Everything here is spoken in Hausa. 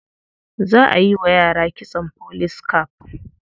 Za a yi wa yara kitson police cap.